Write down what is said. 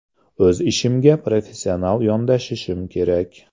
O‘z ishimga professional yondashishim kerak.